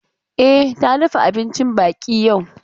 E, ta dafa abincin baƙi yau.